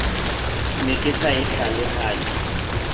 ne ke sa e hlalohanye